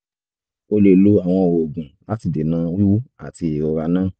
o lè lo àwọn oògùn láti dènà wíwú àti ìrora náà